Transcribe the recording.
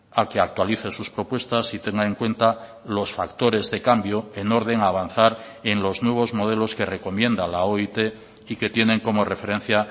a que actualice sus propuestas y tenga en cuenta los factores de cambio en orden a avanzar en los nuevos modelos que recomienda la oit y que tienen como referencia